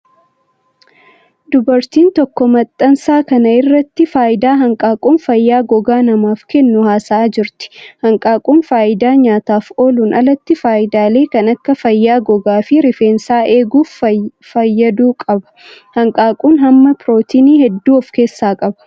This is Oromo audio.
Dubartiin tokko maxxansa kana irratti faayidaa hanqaaquun fayyaa gogaa namaaf kennu haasa'aa jirti. Hanqaaquun faayidaa nyaataaf oolun alatti faayidaalee kan akka fayyaa gogaa fi rifeensaa eeguuf fayyadu qaba. Hanqaaquun, hamma pirootinii hedduu of keessaa qaba.